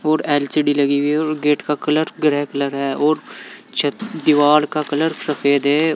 और एल_सी_डी लगी हुई है और गेट का कलर ग्रे कलर है और च दीवार का कलर सफेद है।